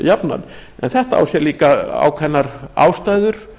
jafnan þetta á sér líka ákveðnar ástæður